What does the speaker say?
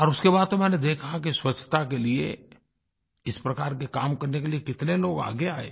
और उसके बाद तो मैंने देखा कि स्वच्छता के लिए इस प्रकार के काम करने के लिए कितने लोग आगे आए